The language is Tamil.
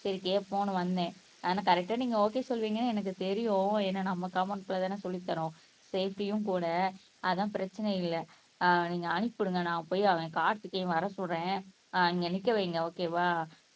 சரி கேப்போம்னு வந்தேன் ஆனா கரெக்ட்டா நீங்க ஒகே சொல்லுவீங்க எனக்கு தெரியும் ஏன்னா நம்ம காம்பௌண்ட்குள்ளதானே சொல்லித்தறோம் சேப்டிய்யும் கூட அதான் பிரச்சனை இல்லை ஆஹ் நீங்க அனுப்பி விடுங்க நான் போய் அவன் கார்த்திகேயன் வர சொல்றேன் ஆஹ் இங்க நிக்க வைங்க ஒகேவா